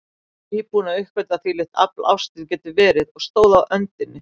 Nýbúin að uppgötva hvílíkt afl ástin getur verið, og stóð á öndinni.